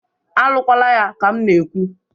A lụkwalaya ka m na-ekwu!